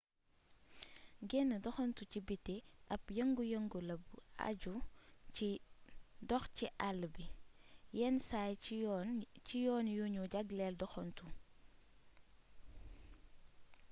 genn doxantu ci biti ab yëngu yëngu la bu aju ci dox ci àll bi yenn saay ci yoon yu nu jagleel doxantu